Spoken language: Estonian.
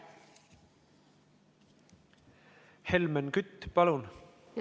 Helmen Kütt, palun!